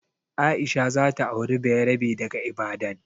Aisha za ta auri bayarabe daga Ibadan.